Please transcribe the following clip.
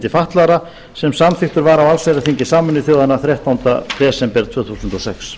fatlaðra sem samþykktur var á allsherjarþingi sameinuðu þjóðanna þrettánda desember tvö þúsund og sex